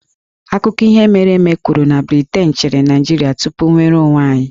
Akụkọ ihe mere eme kwuru na Briten chịrị Naịjirịa tupu nnwere onwe anyị